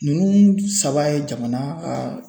Ninnu saba ye jamana ka.